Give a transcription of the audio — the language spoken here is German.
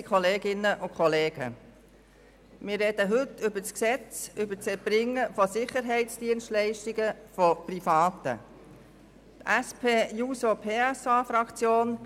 Die SP-JUSO-PSAFraktion ist sehr froh, dass dieser Gesetzesentwurf heute vorliegt und wir über diesen diskutieren können.